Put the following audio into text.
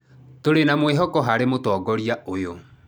Tũrĩ na mwĩhoko harĩ mũtongoria ũyũ.